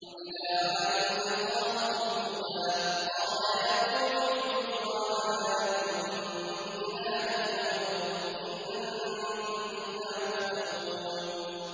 وَإِلَىٰ عَادٍ أَخَاهُمْ هُودًا ۚ قَالَ يَا قَوْمِ اعْبُدُوا اللَّهَ مَا لَكُم مِّنْ إِلَٰهٍ غَيْرُهُ ۖ إِنْ أَنتُمْ إِلَّا مُفْتَرُونَ